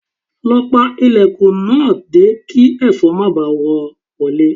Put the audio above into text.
Lọ pa ilẹ̀kùn náà dé kí ẹ̀fọn má baà rọ́ wọlé